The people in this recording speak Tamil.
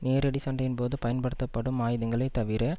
நேரடி சண்டையின் போது பயன்படுத்தப்படும் ஆயுதங்களே தவிர